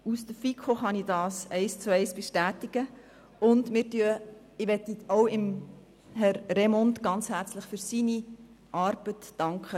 Als FiKo-Mitglied kann ich das eins zu eins bestätigen, und ich möchte Herrn Remund ganz herzlich für seine Arbeit danken.